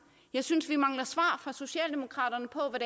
jeg synes vi mangler svar fra socialdemokraterne på